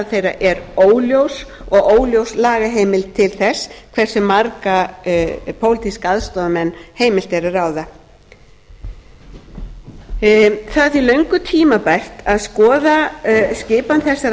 þeirra er óljós og óljós lagaheimild til þess hversu marga pólitíska aðstoðarmenn heimilt er að ráða það er því löngu tímabært að skoða skipan þessara